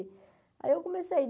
Aí eu comecei.